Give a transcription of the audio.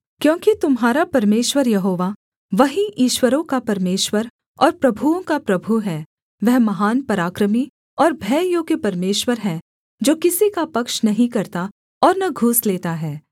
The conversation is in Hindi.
क्योंकि तुम्हारा परमेश्वर यहोवा वही ईश्वरों का परमेश्वर और प्रभुओं का प्रभु है वह महान पराक्रमी और भययोग्य परमेश्वर है जो किसी का पक्ष नहीं करता और न घूस लेता है